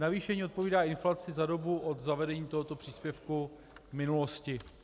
Navýšení odpovídá inflaci za dobu od zavedení tohoto příspěvku v minulosti.